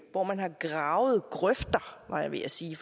hvor man har gravet grøfter var jeg ved at sige